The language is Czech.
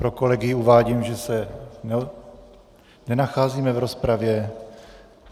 Pro kolegy uvádím, že se nenacházíme v rozpravě.